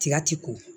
Tiga ti ko